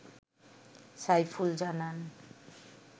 সাইফুল জানান